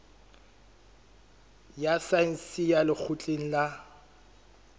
ya saense ya lekgotleng la